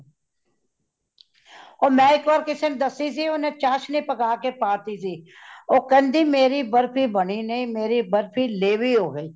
ਉਹ ਮੈ ਇਕ ਵਾਰ ਕਿਸੇ ਨੂੰ ਦੱਸੀ ਸੀ ਓਨੇ ਚਾਸ਼ਨੀ ਪੱਕਾ ਕੇ ਪਾਦਿਤੀ ਸੀ ,ਉਹ ਕੇਂਦੀ ਮੇਰੀ ਬਰਫੀ ਬਨੀ ਨਹੀਂ ਮੇਰੀ ਬਰਫੀ ਲੇਵੀ ਹੋ ਗਈ